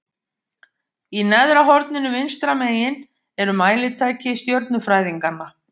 Í neðra horninu vinstra megin eru mælitæki stjörnufræðinganna.